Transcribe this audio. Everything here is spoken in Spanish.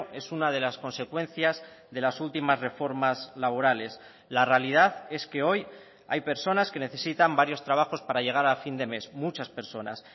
es una de las consecuencias de las últimas reformas laborales la realidad es que hoy hay personas que necesitan varios trabajos para llegar a fin de mes muchas personas